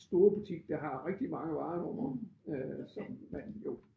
Store butik der har rigtig mange varer hvor øh som man jo